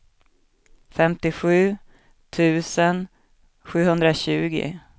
femtiosju tusen sjuhundratjugo